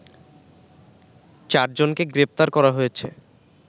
চারজনকে গ্রেপ্তার করা হয়েছে